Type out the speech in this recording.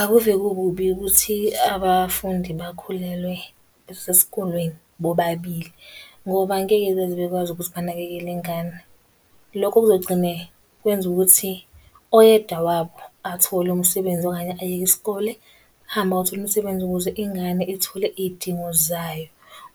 Akuve kukubi ukuthi abafundi bakhulelwe besesikolweni bobabili, ngoba angeke beze bekwazi ukuthi banakekele ingane. Lokho kuzogcine kwenza ukuthi oyedwa wabo athole umsebenzi okanye ayeke isikole. Ahambe ayothola umsebenzi ukuze ingane ithole iy'dingo zayo.